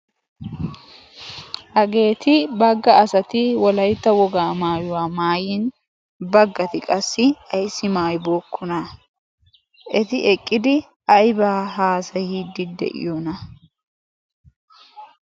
Hageeti bagga asati wolaytta wogaa maayuwaa maayin baggati qassi ayssi maayibokkona? Eti eqqidi aybaa haasayiiddi de'iyoona?